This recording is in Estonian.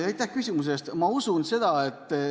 Aitäh küsimuse eest!